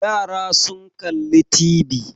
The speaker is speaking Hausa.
Yara sun kalli TV.